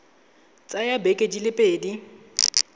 tsaya dibeke di le pedi